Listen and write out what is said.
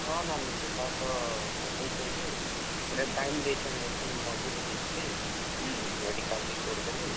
ହଁ, ନାନୀ ସେଟା ତ ପକେଇଛେଁ ଯେ, ଇଟା time ଦେଇଛନ୍ ଇହାଦେ ମଝିରେ ଯାଇଥିଲି, ହୁଁ ହୁଁ, medical report ଦେଲି।